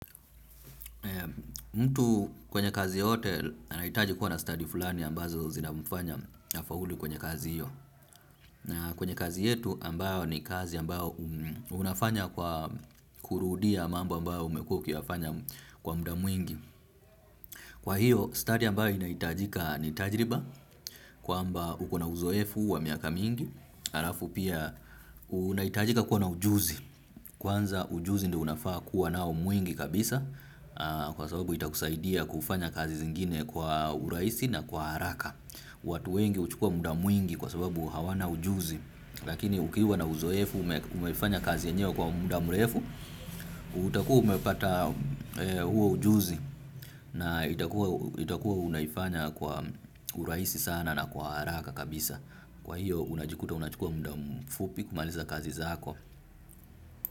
Mtu kwenye kazi yote anaitaji kuwa na study fulani ambazo zinamfanya afaulu kwenye kazi hiyo. Na kwenye kazi yetu ambayo ni kazi ambayo unafanya kwa kurudia mambo ambayo umekua kiafanya kwa muda mwingi. Kwa hiyo study ambayo inaitajika ni tajriba kwa amba ukona uzoefu wa miaka mingi. Arafu pia unaitajika kuwa na ujuzi. Kwanza ujuzi ndi unafaa kuwa nao mwingi kabisa kwa sababu itakusaidia kufanya kazi zingine kwa uraisi na kwa haraka. Watu wengi uchukua muda mwingi kwa sababu hawana ujuzi. Lakini ukiwa na uzoefu umefanya kazi enyewe kwa muda mleefu, utakuwa umepata huo ujuzi na itakuwa unaifanya kwa uraisi sana na kwa haraka kabisa. Kwa hiyo unajikuta unajikua mda mfupi kumaliza kazi zako.